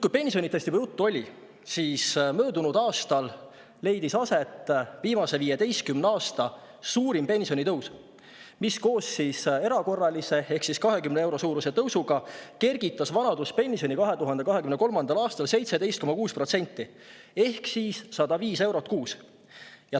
Kui pensionitest juba juttu oli, siis möödunud aastal leidis aset viimase 15 aasta suurim pensionitõus, mis koos erakorralise ehk siis 20 euro suuruse tõusuga kergitas vanaduspensioni 2023. aastal 17,6% ehk 105 euro võrra kuus.